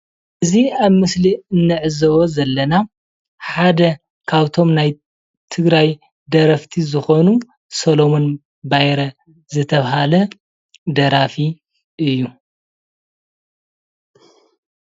እዚ ኣብ ምስሊ ንዕዘቦ ዘለና ሓደ ካብቶም ናይ ትግራይ ደረፍቲ ዝኾኑ ሰሎሞን ባይረ ዝተባህለ ደራፊ እዩ።